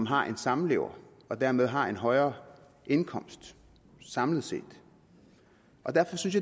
har en samlever og dermed har en højere indkomst samlet set derfor synes